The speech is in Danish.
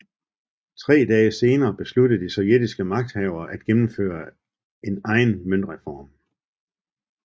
Tre dage senere besluttede de sovjetiske magthavere at gennemføre en egen møntreform